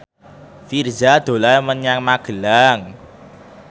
Virzha dolan menyang Magelang